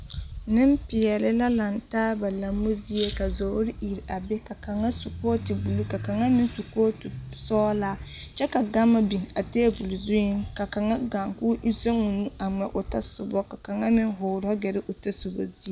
Nempeɛle la lantaa ba lambo zie ka zɔɔre iri a be ka kaŋa su kooti buluu, ka kaŋa meŋ su kooti sɔgelaa kyɛ ka gama biŋ a teebol zuŋ ka kaŋa gaa k'o zɛŋoo nu a ŋmɛ o tasobɔ ka kaŋa meŋ hoorɔ gɛrɛ o tasoba zie.